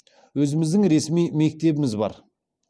өзіміздің ресми мектебіміз бар